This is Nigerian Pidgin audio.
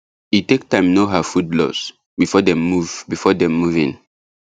e take time know her food laws before dem move before dem move in